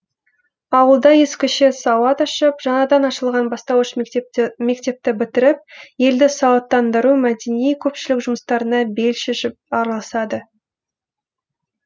ауылда ескіше сауат ашып жаңадан ашылған бастауыш мектепті бітіріп елді сауаттандыру мәдени көпшілік жұмыстарына бел шешіп араласады